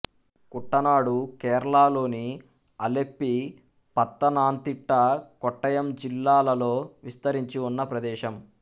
కుట్టనాడుకేరళలోని ఆలెప్పీ పత్తనాంతిట్ట కోట్టయం జిల్లాలలో విస్తరించి ఉన్న ప్రదేశం